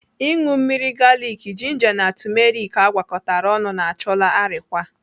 Ịṅụ mmiri galiki, jinja na tumeriki agwakọtara ọnụ na-achụlaa arịkwa.